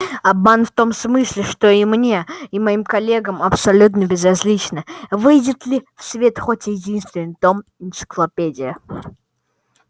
обман в том смысле что и мне и моим коллегам абсолютно безразлично выйдет ли в свет хоть единственный том энциклопедии